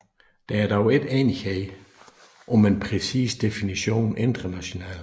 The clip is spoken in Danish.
Der er dog ikke enighed om en præcis definition internationalt